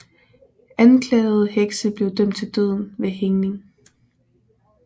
Anklagede hekse blev dømt til døden ved hængning